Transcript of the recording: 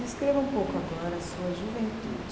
Descreva um pouco agora a sua juventude.